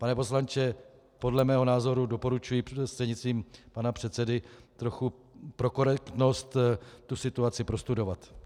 Pane poslanče, podle mého názoru, doporučuji prostřednictvím pana předsedy, trochu pro korektnost tu situaci prostudovat.